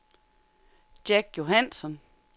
Jack Johansson